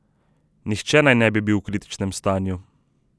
Nihče naj ne bi bil v kritičnem stanju.